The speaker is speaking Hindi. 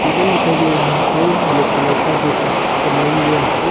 टेबल दिखाई दे रहा है ब्लैक कलर का जो प्लास्टिक से बनाया गया है।